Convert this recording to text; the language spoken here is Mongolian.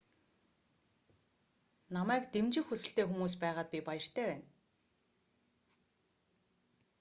намайг дэмжих хүсэлтэй хүмүүс байгаад би баяртай байна